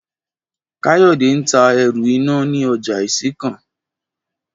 Káyò̩dé ń ta e̩rù iná ní ojà Ìsìnkàn